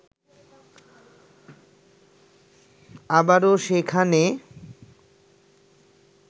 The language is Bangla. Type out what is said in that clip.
আবারো সেখানে